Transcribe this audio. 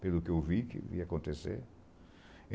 Pelo que eu vi que ia acontecer.